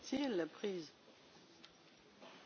Köszönöm szépen a lehetőséget, tisztelt Elnök Úr!